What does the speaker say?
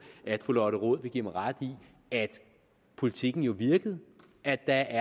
at fru lotte rod vil give mig ret i at politikken jo virkede at der